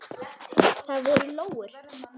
Það voru lóur.